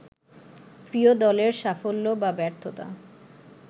প্রিয় দলের সাফল্য বা ব্যর্থতা